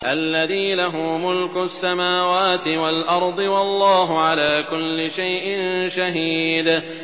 الَّذِي لَهُ مُلْكُ السَّمَاوَاتِ وَالْأَرْضِ ۚ وَاللَّهُ عَلَىٰ كُلِّ شَيْءٍ شَهِيدٌ